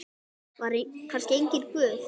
Var kannski enginn Guð?